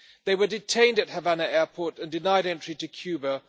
They were detained at Havana airport and denied entry to Cuba.